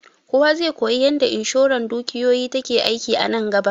Kowa zai koyi yanda inshoran dukiyoyi take aiki a nan gaba